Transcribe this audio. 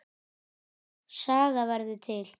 Saga verður til